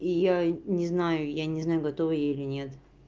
и я не знаю я не знаю готова я или нет